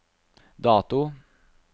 dato